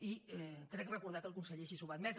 i crec recordar que el conseller ai·xí ho va admetre